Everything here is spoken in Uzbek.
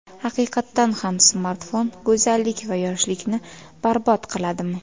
Haqiqatan ham smartfon go‘zallik va yoshlikni barbod qiladimi?.